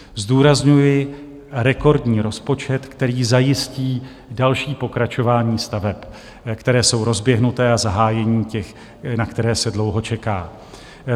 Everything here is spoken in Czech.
Zdůrazňuji rekordní rozpočet, který zajistí další pokračování staveb, které jsou rozběhnuté, a zahájení těch, na které se dlouho čeká.